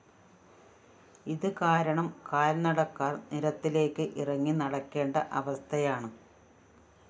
ഇത് കാരണം കാല്‍നടക്കാര്‍ നിരത്തിലേക്ക് ഇറങ്ങി നടക്കേണ്ട അവസ്ഥയാണ്